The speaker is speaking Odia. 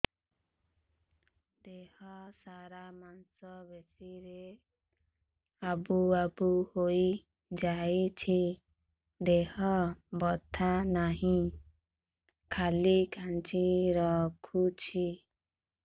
ଦେହ ସାରା ମାଂସ ପେଷି ରେ ଆବୁ ଆବୁ ହୋଇଯାଇଛି ହେଲେ ବଥା ନାହିଁ ଖାଲି କାଞ୍ଚି ରଖୁଛି